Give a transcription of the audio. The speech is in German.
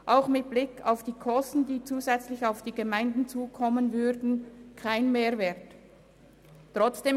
Auch mit Blick auf die Kosten, die zusätzlich auf die Gemeinden zukommen würden, würde kein Mehrwert resultieren.